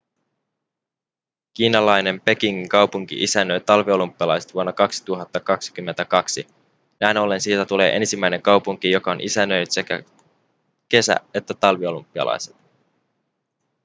kiinalainen pekingin kaupunki isännöi talviolympialaiset vuonna 2022 näin ollen siitä tulee ensimmäinen kaupunki joka on isännöinyt sekä kesä- että talviolympialaiset